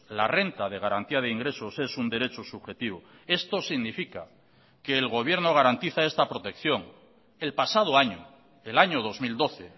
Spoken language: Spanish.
la renta de garantía de ingresos es un derecho subjetivo esto significa que el gobierno garantiza esta protección el pasado año el año dos mil doce